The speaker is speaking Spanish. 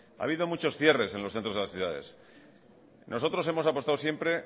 ha habido muchos cierres en los centros de las ciudades nosotros hemos apostado siempre